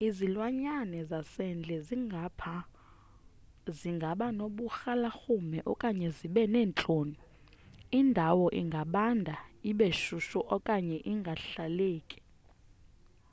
izilwanyana zasendle zingaba noburhalarhume okanye zibe neentloni indawo ingabanda ibe shushu okanye ingahlaleki